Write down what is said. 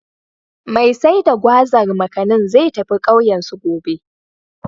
Mai sai da Gwazar/Makanin, zai tafi ƙauyensu, gobe.